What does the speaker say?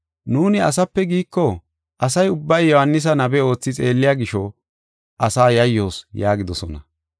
Nuuni, ‘Asape’ giiko, asa ubbay Yohaanisa nabe oothi xeelliya gisho, asaa yayyoos” yaagidosona.